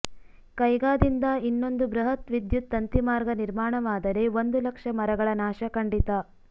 ಕೈಗಾದಿಂದ ಇನ್ನೊಂದು ಬೃಹತ್ ವಿದ್ಯುತ್ ತಂತಿಮಾರ್ಗ ನಿರ್ಮಾಣವಾದರೆ ಒಂದು ಲಕ್ಷ ಮರಗಳ ನಾಶ ಖಂಡಿತ